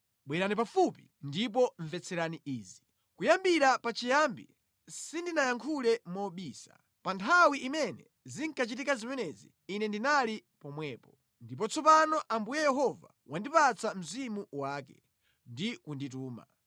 “Bwerani pafupi ndipo mvetserani izi: “Kuyambira pachiyambi sindinayankhule mobisa; pa nthawi imene zinkachitika zimenezi Ine ndinali pomwepo.” Ndipo tsopano Ambuye Yehova wandipatsa Mzimu wake ndi kundituma.